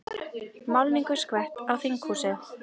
Málningu skvett á þinghúsið